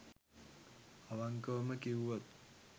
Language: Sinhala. අවංකවම කිව්වොත්